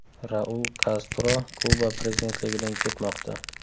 Raul Kastro Kuba prezidentligidan ketmoqda.